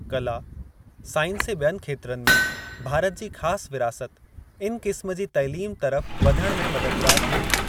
कला, साइंस ऐं बि॒यनि खेत्रनि में भारत जी ख़ासि विरासत इन क़िस्म जी तइलीम तरफ़ वधण में मददगार थींदी।